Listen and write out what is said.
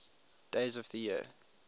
days of the year